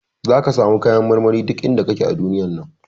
Zaka samu kayan marmari duk inda kaje a duniyar nan.